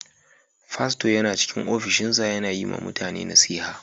Fasto yana cikin ofishinsa yana yi ma mutane nasiha.